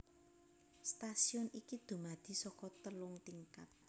Stasiun iki dumadi saka telung tingkat